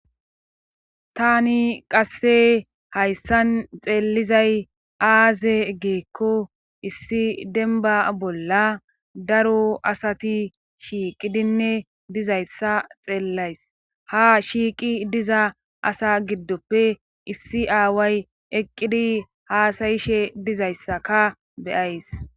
tani qasse hayssan xeellizay aaze geekko issi denba bolla daro asati shiiqidinne dizayssa xeellays ha shiiqi diza asa giddoppe issi aaway eqqidi haasayishe dizayssaka beyays